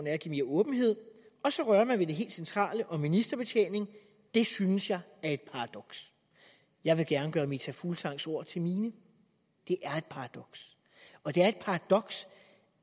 er at give mere åbenhed og så rører man ved det helt centrale om ministerbetjening det synes jeg er et paradoks jeg vil gerne gøre meta fulgsangs ord til mine det er et paradoks og det er et paradoks